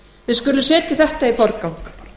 við skulum setja þetta í forgang